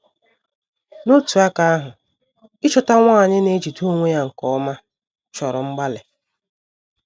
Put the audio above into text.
N’otu aka ahụ, ịchọta nwanyị na - ejide onwe ya nke ọma chọrọ mgbalị.